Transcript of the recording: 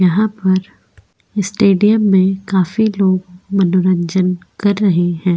यहां पर स्टेडियम में काफी लोग मनोरंजन कर रहे हैं.